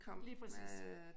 Lige præcis